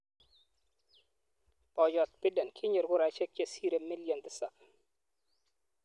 Boyot Biden kinyor kuraisiek che sirei milion tisab .